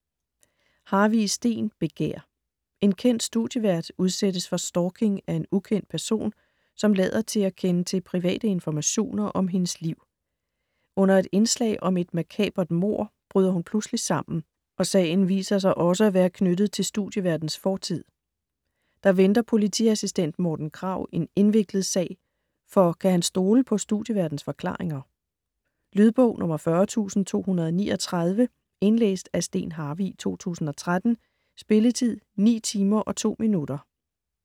Harvig, Steen: Begær En kendt studievært udsættes for stalking af en ukendt person, som lader til at kende til private informationer om hendes liv. Under et indslag om et makabert mord bryder hun pludseligt sammen, og sagen viser også sig at være knyttet til studieværtens fortid. Der venter politiassistent Morten Krag en indviklet sag, for kan han stole på studieværtens forklaringer? Lydbog 40239 Indlæst af Steen Harvig, 2013. Spilletid: 9 timer, 2 minutter.